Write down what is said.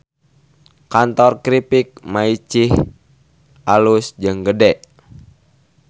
Kantor Kripik Maicih alus jeung gede